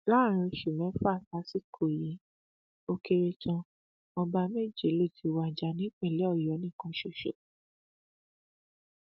láàrin oṣù mẹfà sásìkò yìí ó kéré tán ọba méje ló ti wájà nípìnlẹ ọyọ nìkan ṣoṣo